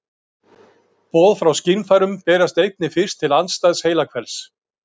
Boð frá skynfærum berast einnig fyrst til andstæðs heilahvels.